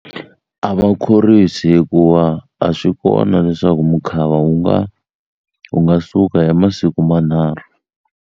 A ma khorwisi hikuva a swi kona leswaku mukhava wu nga wu nga suka hi masiku manharhu.